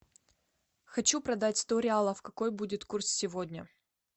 хочу продать сто реалов какой будет курс сегодня